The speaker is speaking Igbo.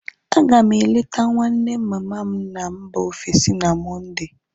A ga m eleta nwanne mama m na mba ofesi na Mọnde